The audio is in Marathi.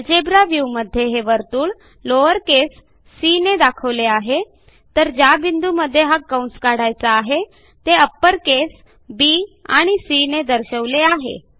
अल्जेब्रा व्ह्यू मध्ये हे वर्तुळ लॉवर केस सी ने दाखवले आहे तर ज्या बिंदूमध्ये हा कंस काढायचा आहे ते अपर केस बीआणि सी ने दर्शवले आहे